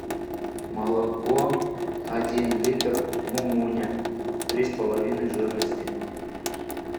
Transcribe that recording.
молоко один литр мумуня три с половиной жирности